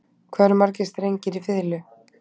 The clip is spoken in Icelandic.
Hvað eru margir strengir í fiðlu?